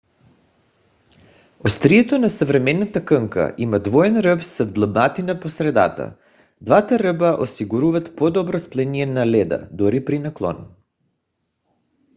острието на съвременната кънка има двоен ръб с вдлъбнатина по средата. двата ръба осигуряват по-добро сцепление на леда дори при наклон